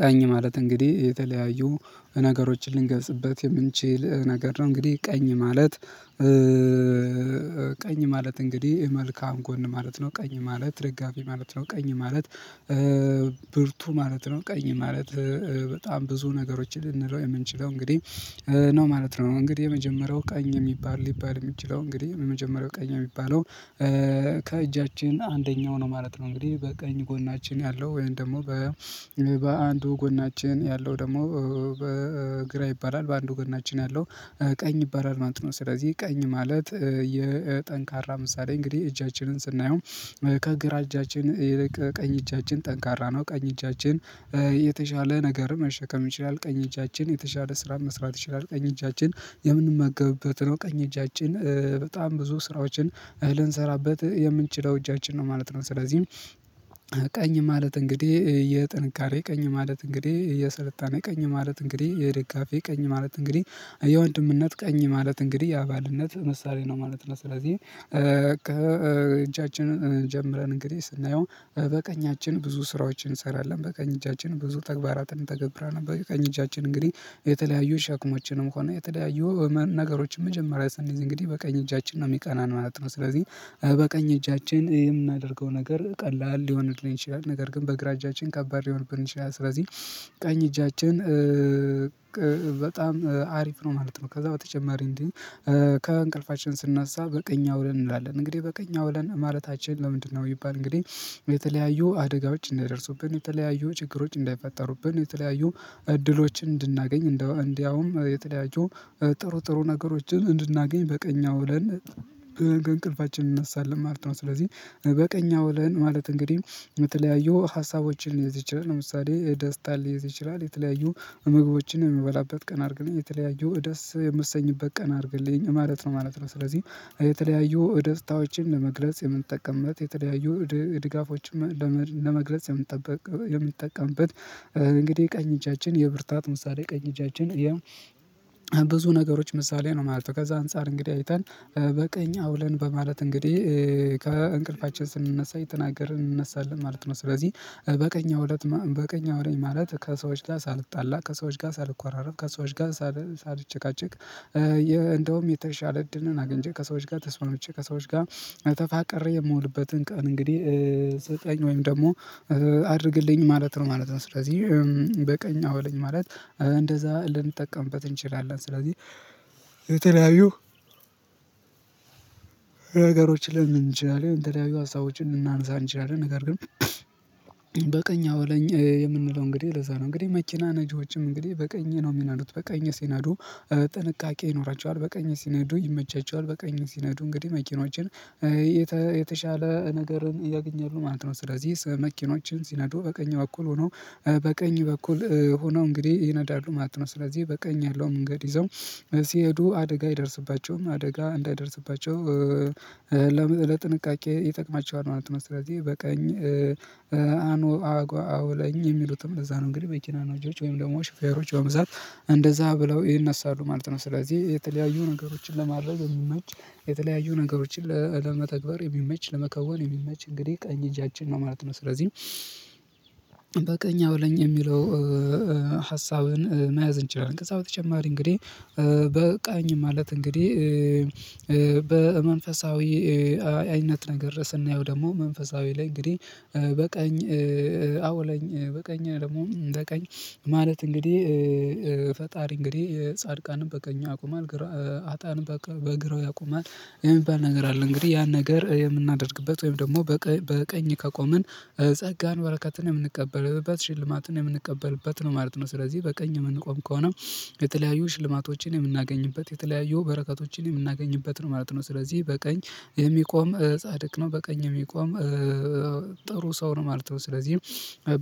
ቀኝ ማለት እንግዲህ የተለያዩ ነገሮችን ልንገልፅበት የምንችል ነገር ነው። እንግዲህ ቀኝ ማለት። ቀኝ ማለት እንግዲህ መልካም ጎን ማለት ነው። ቀኝ ማለት ደጋፊ ማለት ነው። ቀኝ ማለት። ብርቱ ማለት ነው። ቀኝ ማለት በጣም ብዙ ነገሮችን ልንለው የምንችለው እንግዲህ ነው ማለት ነው። እንግዲህ የመጀመሪያው ቀኝ የሚባል ሊባል የሚችለው እንግዲህ የመጀመሪያው ቀኝ የሚባለው ከእጃችን አንደኛው ነው ማለት ነው። እንግዲህ በቀኝ ጎናችን ያለው ወይም ደግሞ በአንዱ ጎናችን ያለው ደግሞ ግራ ይባላል በአንዱ ጎናችን ያለው ቀኝ ይባላል ማለት ነው። ስለዚህ ቀኝ ማለት የጠንካራ ምሳሌ እንግዲህ እጃችንን ስናየው ከግራ እጃችን ይልቅ ቀኝ እጃችን ጠንካራ ነው። ቀኝ እጃችን የተሻለ ነገር መሸከም ይችላል። ቀኝ እጃችን የተሻለ ስራን መስራት ይችላል። ቀኝ እጃችን የምንመገብበት ነው ቀኝ እጃችን በጣም ብዙ ስራዎችን ልንሰራበት የምንችለው እጃችን ነው ማለት ነው። ስለዚህ ቀኝ ማለት እንግዲህ የጥንካሬ ቀኝ ማለት እንግዲህ የስልጣኔ ቀኝ ማለት እንግዲህ የደጋፊ ቀኝ ማለት እንግዲህ የወንድምነት ቀኝ ማለት እንግዲህ የአባልነት ምሳሌ ነው ማለት ነው። ስለዚህ ከእጃችንን ጀምረን እንግዲህ ስናየው በቀኛችን ብዙ ስራዎችን እንሰራለን በቀኝ እጃችን ብዙ ተግባራትን እተገብራለሁ በቀኝ እጃችን እንግዲህ የተለያዩ ሸክሞችንም ሆነ የተለያዩ ነገሮችን መጀመሪያ ስንይዝ እንግዲህ በቀኝ እጃችን ነው የሚቀናን ማለት ነው። ስለዚህ በቀኝ እጃችን የምናደርገው ነገር ቀላል ሊሆንልን ይችላል ነገር ግን በግራ እጃችን ከባድ ሊሆንብን ይችላል። ስለዚህ ቀኝ እጃችን በጣም አሪፍ ነው ማለት ነው። ከዛ በተጨማሪ እንዲህ ከእንቅልፋችን ስንናሳ በቀኝ አውለን እንላለን እንግዲህ በቀኝ አውለን ማለታችን ለምንድነው? የሚባል እንግዲህ የተለያዩ አደጋዎች እንዳይደርሱብን የተለያዩ ችግሮች እንዳይፈጠሩብን የተለያዩ እድሎችን እንድናገኝ እንደውም የተለያዩ ጥሩ ጥሩ ነገሮችን እንድናገኝ በቀኝ አውለን ብለን ከእንቅልፋችን እንነሳለን ማለት ነው። ስለዚህ በቀኝ አውለን ማለት እንግዲህ የተለያዩ ሀሳቦችን ለምሳሌ የደስታን ሊይዝ ይችላል። የተለያዩ ምግቦችን የሚበላበት ቀን አርገን የተለያዩ ደስ የምትሰኝበት ቀን አርግልኝ ማለት ነው ማለት ነው። ስለዚህ የተለያዩ ደስታዎችን ለመግለጽ የምንጠቀምበት የተለያዩ ድጋፎችን ለመግለጽ የምጠቀምበት እንግዲህ ቀኝ እጃችን የብርታት ምሳሌ ቀኝ እጃችን ብዙ ነገሮች ምሳሌ ነው ማለት ነው። ከዛ አንፃር እንግዲህ አይተን በቀኝ አውለን በማለት እንግዲህ ከእንቅልፋችን ስንነሳ የተናገርን እንነሳለን ማለት ነው። ስለዚህ በቀኝ አውለኝ ማለት ከሰዎች ጋር ሳልጣላ ከሰዎች ጋር ሳልኳራረፍ ከሰዎች ጋር ሳልጨቃጨቅ እንደውም የተሻለ እድልን አግች ከሰዎች ጋ ተስማምቼ ከሰዎች ጋ ተፋቀሬ የምውልበትን ቀን እንግዲህ ስጠኝ ወይም ደግሞ አድርግልኝ ማለት ነው ማለት ነው። ስለዚህ በቀኝ አውለኝ ማለት እንደዛ ልንጠቀምበት እንችላለን ስለዚህ የተለያዩ ነገሮችን ልንል እንችላለን የተለያዩ ሀሳቦችን ልናነሳ እንችላለን ነገር ግን በቀኝ አውለኝ የምንለው እንግዲህ ለዛ ነው። እንግዲህ መኪና ነጂዎችም እንግዲህ በቀኝ ነው የሚነዱት በቀኝ ሲነዱ ጥንቃቄ ይኖራቸዋል በቀኝ ሲነዱ ይመቻቸዋል በቀኝ ሲነዱ እንግዲህ መኪኖችን የተሻለ ነገርን ያገኛሉሁ ማለት ነው። ስለዚህ መኪኖችን ሲነዱ በቀኝ በኩል ሆኖ በቀኝ በኩል ሆኖ እንግዲህ ይነዳሉ ማለት ነው። ስለዚህ በቀኝ ያለው መንገድ ይዘው ሲሄዱ አደጋ አይደርስባቸውም አደጋ እንዳይደርስባቸው ለጥንቃቄ ይጠቅማቸዋል ማለት ነው። ስለዚህ በቀኝ አውለኝ የሚሉትም ለዛ ነው እንግዲህ መኪና ነጂዎች ወይም ደግሞ ሹፌሮች በብዛት እንደዛ ብለው ይነሳሉ ማለት ነው። ስለዚህ የተለያዩ ነገሮችን ለማድረግ የሚመች የተለያዩ ነገሮችን ለመተግበር የሚመች ለመከወን የሚመች እንግዲህ ቀኝ እጃችን ነው ማለት ነው። ስለዚህ በቀኝ አወለኝ የሚለው ሀሳብን መያዝ እንችላለን። ከዛ በተጨማሪ እንግዲህ በቀኝ ማለት እንግዲህ በመንፈሳዊ ዊነት ነገር ስናየው ደግሞ መንፈሳዊ ላይ እንግዲህ በቀኝ አውለኝ በቀኝ ደግሞ በቀኝ ማለት እንግዲህ ፈጣሪ እንግዲህ ጻድቃን በቀኙ ያቆማል። ሀጣን በግራው ያቆማል የሚባል ነገር አለ። እንግዲህ ያን ነገር የምናደርግበት ወይም ደግሞ በቀኝ ከቆምን ጸጋን በረከትን የምንቀበልበት ሽልማትን የምንቀበልበት ነው ማለት ነው። ስለዚህ በቀኝ የምንቆም ከሆነ የተለያዩ ሽልማቶችን የምናገኝበት የተለያዩ በረከቶችን የምናገኝበት ነው ማለት ነው። ስለዚህ በቀኝ የሚቆም ጻድቅ ነው በቀኝ የሚቆም ጥሩ ሰው ነው ማለት ነው። ስለዚህ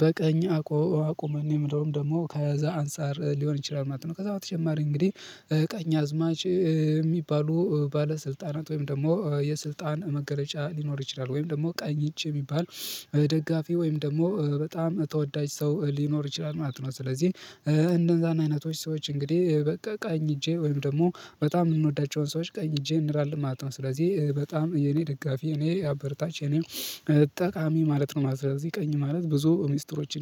በቀኝ አቁመን የምንለውም ደግሞ ከዛ አንፃር ሊሆን ይችላል ማለት ነው። ከዛ በተጨማሪ እንግዲህ ቀኝ አዝማች ሚባሉ ባለስልጣናት ወይም ደግሞ የስልጣን መገለጫ ሊኖር ይችላል ወይም ደግሞ ቀኝ እጂ የሚባል ደጋፊ ወይም ደግሞ በጣም ተወዳጅ ሰው ሊኖር ይችላል ማለት ነው። ስለዚህ እነዛን አይነቶች ሰዎች እንግዲህ ቀኝ እጄ ወይም ደግሞ በጣም የምንወዳቸውን ሰዎች ቀኝ እጄ እንላለን ማለት ነው። ስለዚህ በጣም የኔ ደጋፊ እኔ አበርታቺ የኔ ጠቃሚ ማለት ነው። ስለዚህ ቀኝ ማለት ብዙ ሚስጥሮች